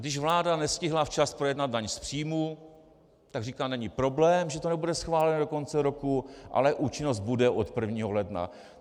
Když vláda nestihla včas projednat daň z příjmů, tak říkala: není problém, že to nebude schváleno do konce roku, ale účinnost bude od 1. ledna.